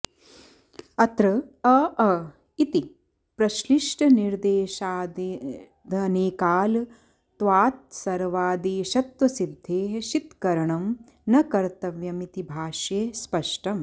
अत्र अ अ इति प्रश्लिष्टनिर्देशादनेकाल्त्वात्सर्वादेशत्वसिद्धेः शित्करणं न कर्तव्यमिति भाष्ये स्पष्टम्